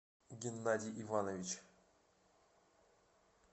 геннадий иванович